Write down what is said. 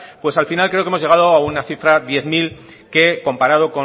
pues al final creo que hemos llegado a una cifra diez mil que comparado